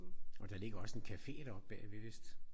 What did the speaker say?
Og der ligger også en café deroppe bagved vist